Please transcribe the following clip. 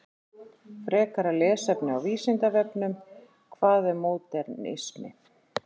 Frekara lesefni á Vísindavefnum: Hvað er módernismi?